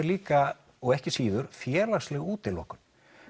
líka og ekki síður félagsleg útilokun